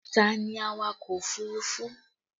Ta ni awakọ̀ òfurufú?